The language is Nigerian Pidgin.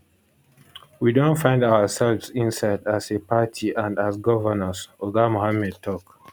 we don find ourselves inside as a party and as governors oga mohammed tok